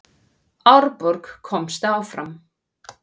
Árborg komst áfram